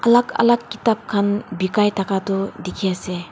alag alag kitab khan bikai thaka toh dikhi ase.